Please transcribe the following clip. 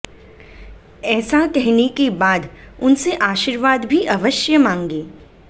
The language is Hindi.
ऐसा कहने के बाद उनसे आर्शीवाद भी अवश्य मांगे